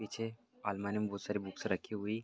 पीछे अलमारी में बहुत सारी बुक्स रखी हुई--